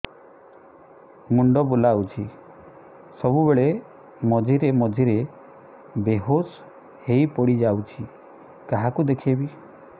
ମୁଣ୍ଡ ବୁଲାଉଛି ସବୁବେଳେ ମଝିରେ ମଝିରେ ବେହୋସ ହେଇ ପଡିଯାଉଛି କାହାକୁ ଦେଖେଇବି